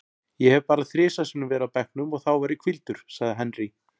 Ég hef bara þrisvar sinnum verið á bekknum og þá var ég hvíldur, sagði Henry.